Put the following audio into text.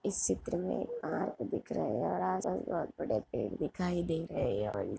इस चित्र में आर्ट दिख रहा है और आसपास बहुत बड़े पेड़ दिखाई दे रहे है।